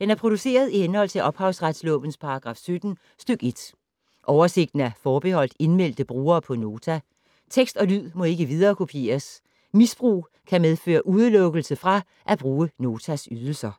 Den er produceret i henhold til ophavsretslovens paragraf 17 stk. 1. Oversigten er forbeholdt indmeldte brugere på Nota. Tekst og lyd må ikke viderekopieres. Misbrug kan medføre udelukkelse fra at bruge Notas ydelser.